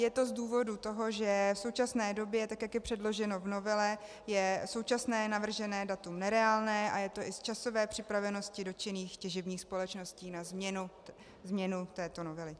Je to z důvodu toho, že v současné době, tak jak je předloženo v novele, je současné navržené datum nereálné, a je to i z časové připravenosti dotčených těžebních společností na změnu této novely.